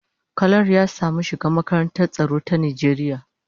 Kalar ya samu shiga makarantar tsaro ta Najeriya.